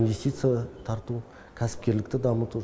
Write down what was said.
инвестиция тарту кәсіпкерлікті дамыту